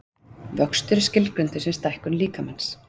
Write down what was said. Vöxtur er skilgreindur sem stækkun líkamans.